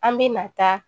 An bɛ na taa